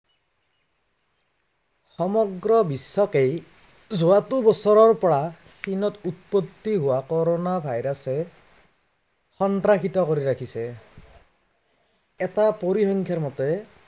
সমগ্ৰ বিশ্বতেই যোৱাটো বছৰৰ পৰা চীনত উৎপত্তি হোৱা কৰোনা virus এ সন্ত্ৰাসিত কৰি ৰাখিছে। এটা পৰিসংখ্য়াৰ মতে